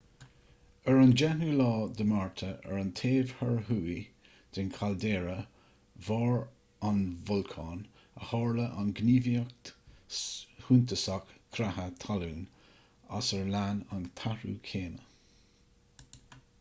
ar an 10 márta ar an taobh thoir thuaidh de chaildéara bharr an bholcáin a tharla an ghníomhaíocht shuntasach creatha talún as ar lean an t-athrú céime